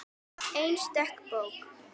Einstök bók.